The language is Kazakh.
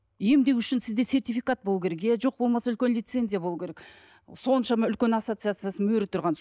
емдеу үшін сізде сертификат болуы керек иә жоқ болмаса үлкен лицензия болу керек соншама үлкен ассоцияциясы мөрі тұрған